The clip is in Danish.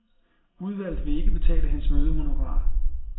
Udvalget vil ikke betale hans mødehonorar.